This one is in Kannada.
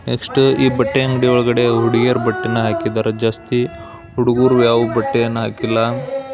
ನೆಕ್ಸ್ಟ್ ಈ ಬಟ್ಟೆ ಅಂಗಡಿ ಒಳಗಡೆ ಹುಡುಗಿಯರ ಬಟ್ಟೇನೂ ಹಾಕಿದ್ದಾರೆ ಜಾಸ್ತಿ. ಹುಡುಗ್ರು ಯಾವ್ ಬಟ್ಟೆಯನ್ನ ಹಾಕಿಲ್ಲ .